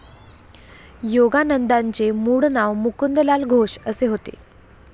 योगानंदांचे मुळ नाव मुकुंदलाल घोष असे होते.